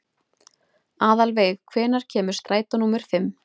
Aðalveig, hvenær kemur strætó númer fimm?